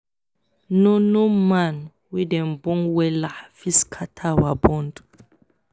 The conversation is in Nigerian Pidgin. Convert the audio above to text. no no man wey dem born wella fit scatter our bond